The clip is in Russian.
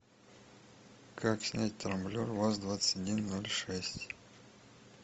как снять трамблер ваз двадцать один ноль шесть